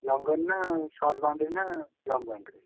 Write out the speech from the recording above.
Long on ନା short boundary ନା long boundary ?